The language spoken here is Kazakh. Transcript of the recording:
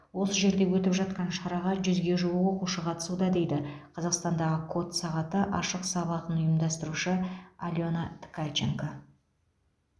осы жерде өтіп жатқан шараға жүзге жуық оқушы қатысуда дейді қазақстандағы код сағаты ашық сабағын ұйымдастырушы алена ткаченко